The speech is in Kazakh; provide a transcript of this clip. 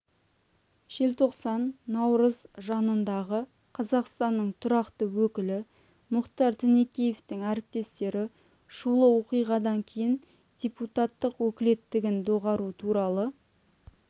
желтоқсан наурыз жанындағы қазақстанның тұрақты өкілі мұхтар тінікеевтің әріптестері шулы оқиғадан кейін депутаттық өкілеттігін доғару туралы